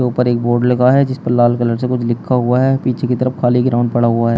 ऊपर एक बोर्ड लगा है जिस पर लाल कलर से कुछ लिखा हुआ है पीछे की तरफ खाली ग्राउंड पड़ा हुआ ह--